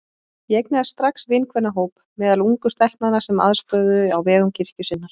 Ég eignaðist strax vinkvennahóp meðal ungu stelpnanna sem aðstoðuðu á vegum kirkju sinnar.